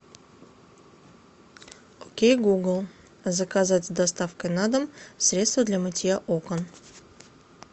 окей гугл заказать с доставкой на дом средство для мытья окон